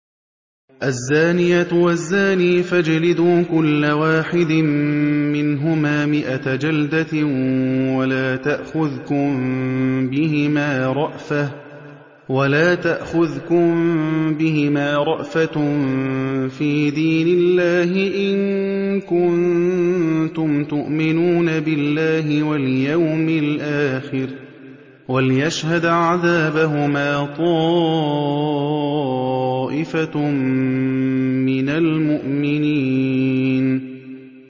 الزَّانِيَةُ وَالزَّانِي فَاجْلِدُوا كُلَّ وَاحِدٍ مِّنْهُمَا مِائَةَ جَلْدَةٍ ۖ وَلَا تَأْخُذْكُم بِهِمَا رَأْفَةٌ فِي دِينِ اللَّهِ إِن كُنتُمْ تُؤْمِنُونَ بِاللَّهِ وَالْيَوْمِ الْآخِرِ ۖ وَلْيَشْهَدْ عَذَابَهُمَا طَائِفَةٌ مِّنَ الْمُؤْمِنِينَ